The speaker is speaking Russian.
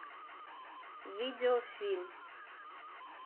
видеофильм